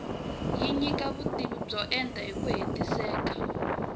yi nyika vutivi byo enta hiku hetiseka